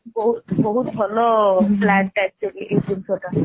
ବହୁତ ବହୁତ ଭଲ plan ଟା actually ଏଇ ଜିନିଷ ଟା